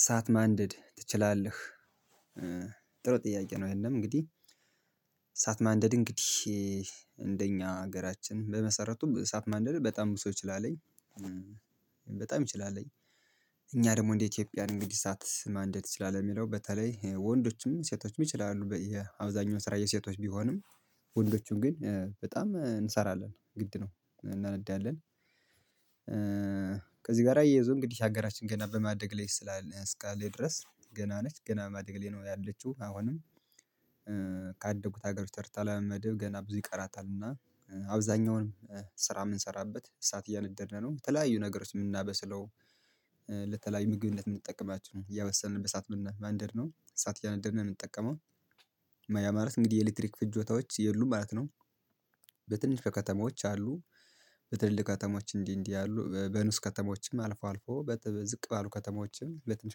እሳት ማንደድ ትችላለህ? ጥሩ ጥያቄ ነው ይሄም እንግዲህ እሳት ማንደድ እንግዲህ እንደኛ ሀገራችን በመሰረቱ እሳት ማንደድ በጣም ሰው ይችላለኝ። በጣም ይችላል። እኛ ደግሞ እንደ ኢትዮጵያን እንግዲህ እሳት ማንደድ ትችላለት የሚለው በተለይ ወንዶችም ሴቶችም ይችላሉ የአብዛኛው ስራ የሴቶች ቢሆንም ወንዶቹን ግን በጣም እንሰራለን ግድ ነው እናነዳለን። ከዚህ ጋር አያይዞ እንግዲህ ሀገራችን ገና በማደግ ላይ ስላነሳለች እስካለች ድረስ ገና ነች ገና ማደግ ማደግ ላይ ነው ያለችው አሁንም ካደጉት ሀገሮች ተርታ ለመድብ ገና ብዙ ይቀራታል። እና አብዛኛውንም ስራ የምንሰራበት እሳት እያነደድን ነው የተለያዩ ነገሮች የምናበስለው። ለተለያዩ ምግብነት የምንጠቀማችሁ እያበሰልን በሰአት ማንደር ነው ሰዓት እያነደድን ነው የምንጠቀመው ያ ማለት እንግዲህ የኤሌክትሪክ ፍጆታዎች የሉም ማለት ነው። በትንሽ ከተማዎች አሉ በትልቅ ከተማዎች እንዲህ እንዲህ ያሉ በኑስ ከተሞችም አልፎ አልፎ በዝቅ ባሉ ከተሞችም በትንሽ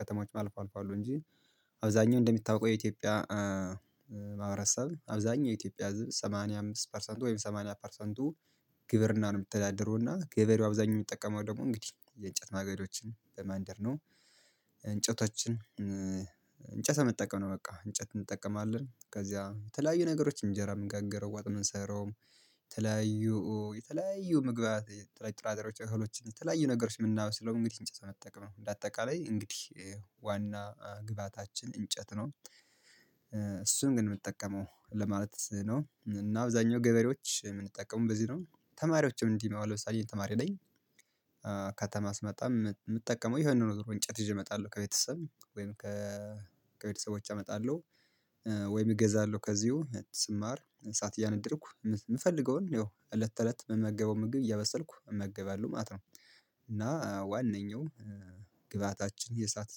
ከተሞችም አልፎ አልፎ አሉ እንጂ። አብዛኛው እንደምታውቀው የኢትዮጵያ ማህበረሰብ አብዛኛው ኢትዮጵያ ህዝብ ሰማንያ አምስት ፐርሰንቱ ወይም ሰማንያ ፐርሰንቱ ግብርና ነው የምትተዳደረው እና ገበሬው አብዛኛው የሚጠቀመው ደግሞ እንግዲህ የእንጨት ማገዶችን በማንደር ነው። እንጨቶችን እንጨት መጠቀም ነው በቃ እንጨት እንጠቀማለን ከዚያ የተለያዩ ነገሮች እንጀራ የምንጋግረው ዋጥ የምንሰራውም። የተለያዩ የተለያዩ ምግብ የተለያዩ ጥራጥሬዎች እህሎች የተለያዩ ነገሮች የምናየው ስለሆነ እንግዲህ እንጨት በመጠቀም ነው በአጠቃላይ እንግዲህ ዋና ግብአታችን እንጨት ነው። እሱን ግን የምትጠቀመው ለማለት ነው እና አብዛኛው ገበሬዎች የምንጠቀሙ በዚህ ነው ተማሪዎችም እንዲህ የማዋለው ሳሊዬ ተማሪ ነኝ። ከተማ ስመጣም የምጠቀመው የሆነ ነው ወይ እንጨት ይዤ እመጣለሁ ከቤተሰብ ወይም ከ ከቤተሰቦች አመጣለሁ። ወይም እገዛለሁ ከዚሁ ስማር ሰዓት እያነደርኩ የምፈልገውን ያው እለት ተእለት የምመገበው ምግብ እያበሰልኩ እመገባለሁ ማለት ነው። እና ዋነኛው ግብአታችን የእሳት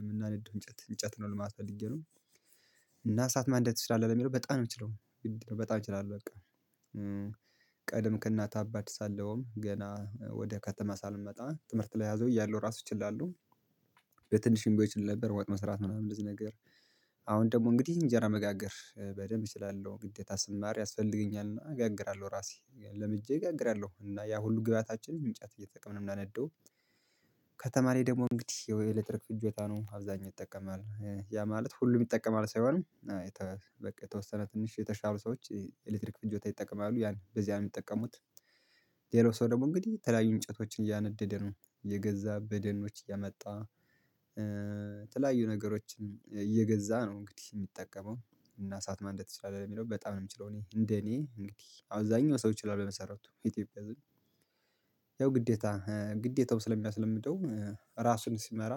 የምናነደው እንጨት እንጨት ነው ለማለት ፈልጌ ነው። እና እሳት ማንደድ ትችላለህ የሚለው በጣም ነው የምትችለው? በጣም እችላለሁ በቃ። ቀደም ከእናት አባት ሳለውም ገና ወደ ከተማ ሳልመጣ ትምህርት ላይ ያዘው እያሉ ራሱ ይችላሉ። በትንሽም እንድትችል ነበር ወጥ መስራት ምናምን እዚህ ነገር። አሁን ደግሞ እንግዲህ እንጀራ መጋገር በደንብ እችላለሁ ግዴታ ስማር ያስፈልገኛልና እጋግራለሁ ራሴ ለምጄ እጋግራለሁ እና ያ ሁሉ ግብአታችን እንጨት እየተጠቀምን የምናነደው። ከተማ ደግሞ እንግዲህ የኤሌክትሪክ ፍጆታ ነው አብዛኛው ይጠቀማል ያ ማለት ሁሉም ይጠቀማል ሳይሆን በቃ የተወሰነ ትንሽ የተሻሉ ሰዎች ኤሌክትሪክ ፍጆታ ይጠቀማሉ ያን በዚህ ነው የሚጠቀሙት። ሌላው ሰው ደግሞ እንግዲህ የተለያዩ እንጨቶችን እያነደደ ነው የገዛ በደኖች እያመጣ። የተለያዩ ነገሮችን እየገዛ ነው እንግዲህ የሚጠቀመው እና እሳት ማንደር ትችላለህ የሚለው በጣም ነው የምችለው? እኔ እንደ እኔ እንግዲህ አብዛኛው ሰው ይችላል በመሰረቱ ኢትዮጵያ ህዝብ ያው ግዴታ ግዴታው ስለሚያስለምደው ራሱን ሲመራ።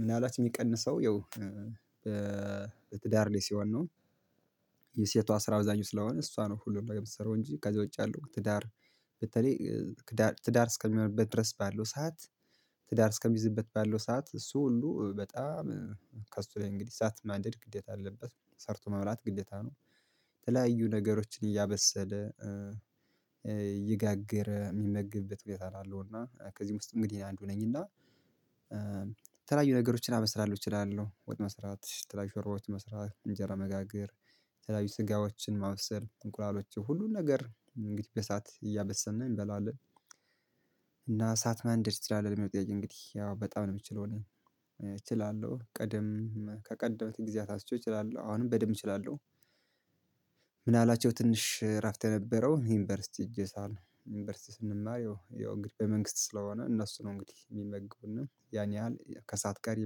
ምን አላት የሚቀንሰው ያው? በትዳር ላይ ሲሆን ነው። የሴቷ ስራ አብዛኛው ስለሆነ እሷ ነው ሁሉንም በምትሰራው እንጂ ከዛ ውጭ ያለው ትዳር። በተለይ ትዳር እስከሚሆንበት ድረስ ባለው ሰዓት። ትዳር እስከሚይዝበት ባለው ሰዓት እሱ ሁሉ በጣም ከእሱ ላይ እንግዲህ ሰዓት ማደድ ግዴታ አለበት ሰርቶ መብላት ግዴታ ነው። የተለያዩ ነገሮችን እያበሰለ እየጋገረ የሚመግብበት ብዬ አላለው እና ከዚህ ውስጥ እንግዲህ አንዱ ነኝ እና። ተለያዩ ነገሮችን አበስላለሁ እችላለሁ ወጥ መስራት የተለያዩ ሾርባዎችን መስራት እንጀራ መጋገር የተለያዩ ስጋዎችን ማብሰል እንቁላሎችን ሁሉን ነገር እንግዲህ በእሳት እያበሰንን እንበላለን። እና እሳት ማንደድ ለሚለው ጥያቄ እንግዲህ ያው በጣም ነው የምችለው። እችላለሁ ቀደም ከቀደመት ጊዜ አታስቼው እችላለሁ አሁንም በደንብ እችላለሁ። ምን አላቸው ትንሽ እራፍት የነበረው ዩኒቨርሲቲ ሄጄ ሳል ዩኒቨርሲቲ ስንማር ያው የመንግስት ስለሆነ እነሱ ነው እንግዲህ የሚመግቡና ያን ያህል ከእሳት ቀሪ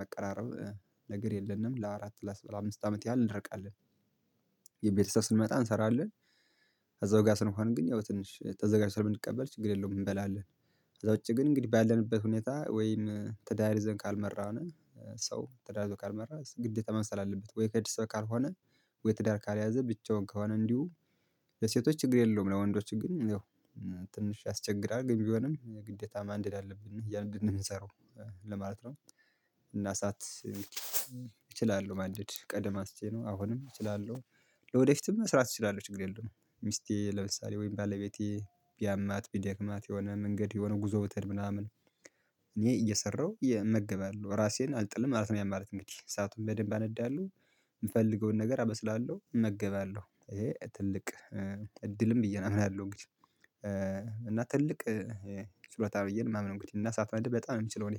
መቀራረብ ነገር የለንም ለአራት ለ አምስት አመት ያህል እንደረቃለን። የቤተሰብ ስንመጣ እንሰራለን። እዛው ጋር ስንሆን ግን ያው ትንሽ ተዘጋጅ ስለምንቀበል ችግር የለውም እንበላለን። እዛ ውጪ ግን እንግዲህ ባለንበት ሁኔታ ወይም ትዳር ይዘን ካልመራን። ሰው ትዳር ይዞ ካልመራ ግዴታ ማብሰል አለበት ወይ ከድስት ካልሆነ ወይ ትዳር ካልያዘ ብቻውን ከሆነ እንዲሁ። ለሴቶች ችግር የለውም። ለወንዶች ግን ያው ትንሽ ያስቸግራል ግን ቢሆንም ግዴታ ማንደድ አለብን እያልን እንድንሰራው ለማለት ነው። እና ሰዓት ማደድ ቀደም አስቼ ነው አሁንም እችላለሁ። ወደፊትም መስራት እችላለሁ ችግር የለውም። ሚስቴ ለምሳሌ ወይም ባለቤቴ ቢያማት ቢደክማት የሆነ መንገድ የሆነ ጉዞ ብትሄድ ምናምን እኔ እየሰራሁ እመገባለሁ ራሴን አልጥልም ማለት ነው። ያማረት እንግዲህ እሳቱን በደንብ አነዳለሁ። የምፈልገውን ነገር አበስላለሁ እመገባለሁ ይሄ ትልቅ እድልም ብዬ ነው የምናለው። እና ትልቅ ችሎታ ብዬ ነው እማምነው። እንኳን እና እሳት ማንደድ በጣም የምችለው እኔ